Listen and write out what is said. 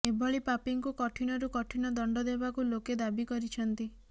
ଏଭଳି ପାପୀଙ୍କୁ କଠିନରୁ କଠିନ ଦଣ୍ଡ ଦେବାକୁ ଲୋକେ ଦାବି କରିଛନ୍ତି